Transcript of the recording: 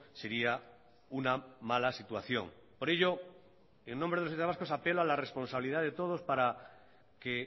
sería una mala situación por ello en nombre de los socialistas vascos apelo a la responsabilidad de todos para que